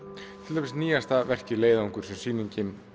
til dæmis nýjasta verkið leiðangur sem sýningin